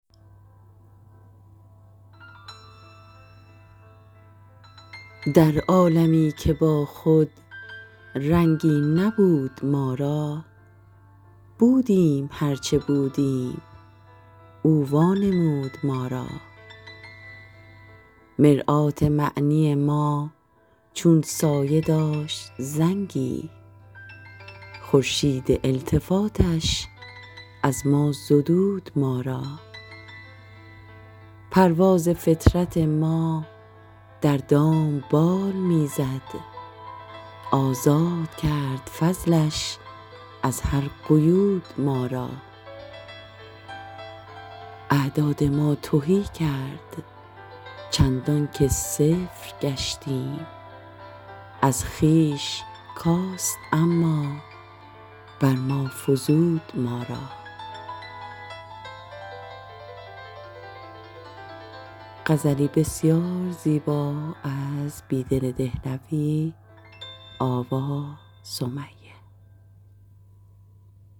در عالمی که با خود رنگی نبود ما را بودیم هرچه بودیم او وانمود ما را مرآت معنی ما چون سایه داشت زنگی خورشید التفاتش از ما زدود ما را پرواز فطرت ما در دام بال می زد آزاد کرد فضلش از هر قیود ما را اعداد ما تهی کرد چندان که صفر گشتیم از خویش کاست اما بر ما فزود ما را